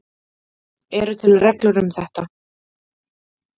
Eru til reglur um þetta?